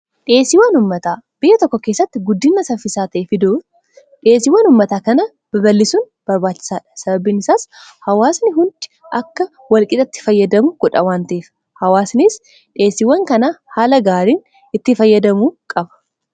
dhiesiiwwan ummataa biyya tokko keessatti guddinasaffisaatee fidoo dhieesiiwwan ummataa kana baballisuun barbaachisaadha sababiinisaas hawaasni hundi akka walqixatti fayyadamu godha waanteef hawaasnis dhieesiiwwan kana haala gaariin itti fayyadamu qaba